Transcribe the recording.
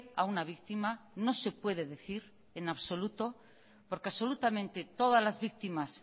a una víctima no se puede decir en absoluto porque absolutamente todas las víctimas